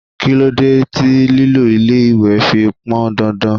Kí ló dé tí lílọ ilé-ìwé fi pọn dandan?